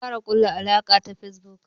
Mun kara kulla alaka ta Facebook.